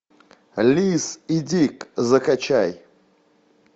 лиз и дик закачай